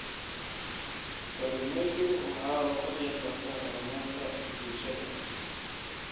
Kalluumaysigu waxa uu ka qayb qaataa horumarka bulshada.